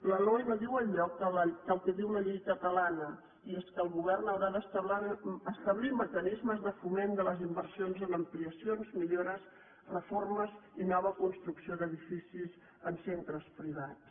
la loe no diu enlloc el que diu la llei catalana i és que el govern haurà d’establir mecanismes de foment de les inversions en ampliacions millores reformes i nova construcció d’edificis en centres privats